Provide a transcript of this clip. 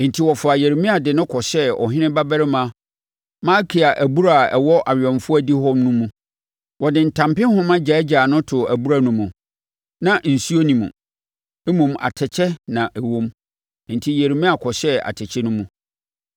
Enti wɔfaa Yeremia de no kɔhyɛɛ ɔhene babarima Malkia abura a ɛwɔ awɛmfoɔ adihɔ no mu. Wɔde ntampehoma gyaagyaa no too abura no mu; na nsuo nni mu, mmom atɛkyɛ na na ɛwom, enti Yeremia kɔhyɛɛ atɛkyɛ no mu.